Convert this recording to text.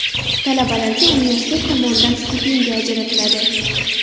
Talabalarga universitet tomonidan stipendiya ajratiladi.